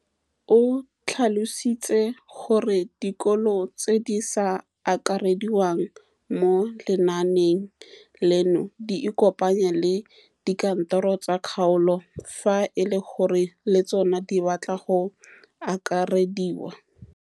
O tlhalositse gore dikolo tse di sa akarediwang mo lenaaneng leno di ikopanye le dikantoro tsa kgaolo fa e le gore le tsona di batla go akarediwa.